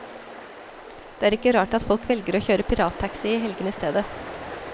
Det er ikke rart at folk velger å kjøre pirattaxi i helgene i stedet.